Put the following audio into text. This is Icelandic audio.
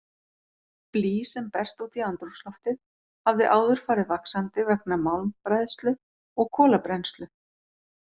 Blý sem berst út í andrúmsloftið hafði áður farið vaxandi vegna málmbræðslu og kolabrennslu.